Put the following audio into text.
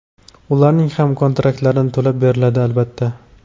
ularning ham kontraktlari to‘lab beriladi, albatta.